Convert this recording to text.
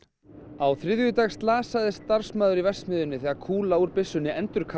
á þriðjudag slasaðist starfsmaður í verksmiðjunni þegar kúla úr byssunni